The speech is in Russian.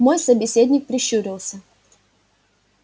мой собеседник прищурился